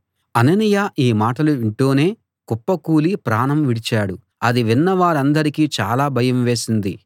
అననీయ ఈ మాటలు వింటూనే కుప్పకూలి ప్రాణం విడిచాడు అది విన్న వారందరికీ చాలా భయం వేసింది